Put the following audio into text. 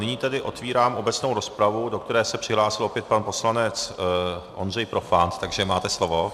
Nyní tedy otvírám obecnou rozpravu, do které se přihlásil opět pan poslanec Ondřej Profant, takže máte slovo.